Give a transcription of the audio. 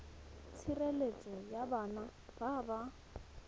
tshireletso ya bana ba ba